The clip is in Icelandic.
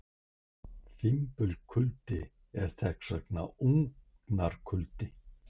Fimbulkuldi er þess vegna ógnarkuldi.